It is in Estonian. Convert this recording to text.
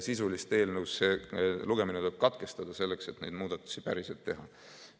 Sisuliselt eelnõu lugemine tuleb katkestada, selleks et neid muudatusi päriselt teha.